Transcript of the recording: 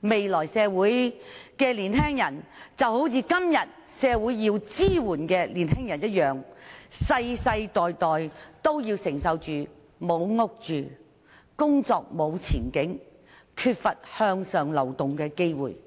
未來的年青人，就會好像今天社會上需要支援的年青人一樣，世世代代也要承受沒有住屋、沒有工作前景、缺乏向上流動的機會等問題。